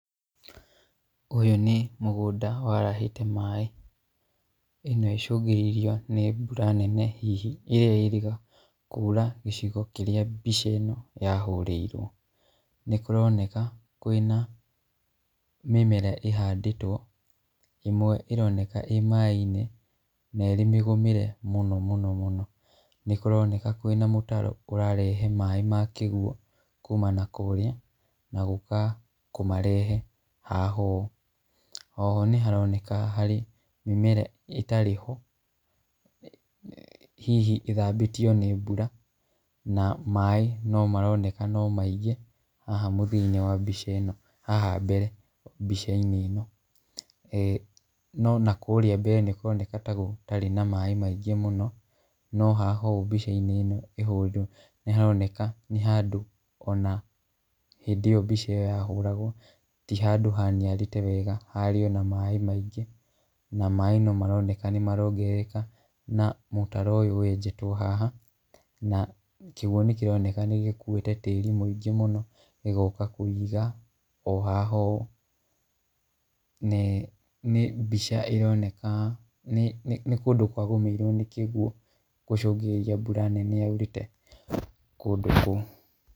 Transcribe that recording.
Ũyũ nĩ mũgũnda warahĩte maaĩ , ĩno icũngĩrĩirio nĩ mbura nene hihi ĩrĩa yĩrĩga kuura gĩcigo kĩrĩa mbica ĩno yahũrĩirwo, nĩ kũroneka kwĩna mĩmera ĩhandĩtwo, ĩmwe ĩroneke ĩ maaĩ-inĩ na ĩrĩ mĩgũmĩre mũno mũno, nĩkũroneka kwĩna mũtaro ũrarehe maaĩ ma kĩguo kumana na kũrĩa, na gũka kũmarehe haha ũũ, oho nĩ haroneka nĩ harĩ mĩmera ĩtarĩ ho, hihi ĩthambĩtio nĩ mbura, na maaĩ no maroneka no maingĩ, haha mũthia-inĩ wa mbica ĩno, haha mbere mbica-inĩ ĩno, e no na kũrĩa mbere nĩkũroneka ta gũtarĩ na maaĩ maingĩ mũno, no haha ũũ mbica-inĩ ĩno ĩhũrĩtwo nĩ haroneka nĩ handũ ona mbica ĩyo yahũragwo, ti handũ haniarĩte wega, hararĩ ona maaĩ maingĩ, na maaĩ no maroneka nĩmarongerereka na mũtaro ũyũ wenjetwo haha, na kĩguo nĩ kĩroneka nĩgĩkuiĩe tĩri mũingĩ mũno, gĩgoka kũwũiga o haha ũũ, nĩ mbica ĩroneka, nĩ kũndũ kwa gũmĩirwo nĩ kĩgwo gũcũngĩrĩria mbura nene yaurĩte kũndũ kũu.